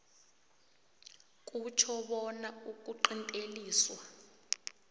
kutjho bona ukuqinteliswa